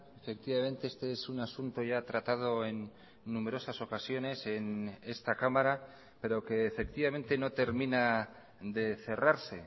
efectivamente este es un asunto ya tratado en numerosas ocasiones en esta cámara pero que efectivamente no termina de cerrarse